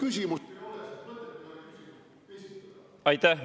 Aitäh!